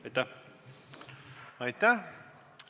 Aitäh!